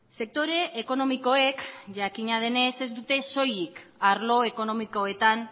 sektore ekonomikoek jakina denez ez dute soilik arlo ekonomikoetan